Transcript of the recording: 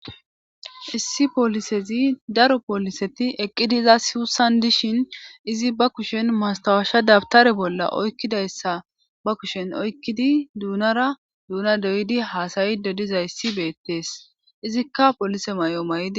issi poolisezi daro pooliseti eqqidi iza siussan dishin izi ba kushen mastawaashsha dabtare bolla oykkidayssa ba kushen oykkidi duunara duuna doydi haasayi do diza issi beettees izikka polise may7o may7di